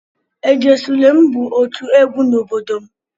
"Ejesulem" bụ otu egwu n'obodo m.